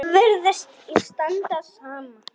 Virðist standa á sama.